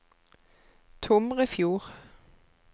Tomrefjord